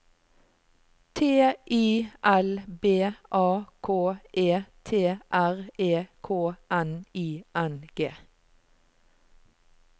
T I L B A K E T R E K N I N G